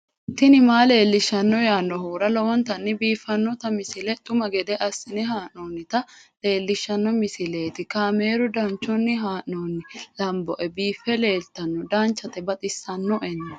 tini maa leelishshanno yaannohura lowonta biiffanota misile xuma gede assine haa'noonnita leellishshanno misileeti kaameru danchunni haa'noonni lamboe biiffe leeeltanno danchate baxissinoena